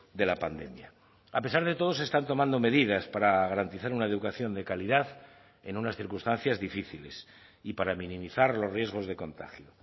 de la pandemia a pesar de todo se están tomando medidas para garantizar una educación de calidad en unas circunstancias difíciles y para minimizar los riesgos de contagio